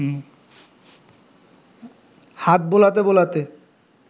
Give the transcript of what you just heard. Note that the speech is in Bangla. হাত বোলাতে বোলাতে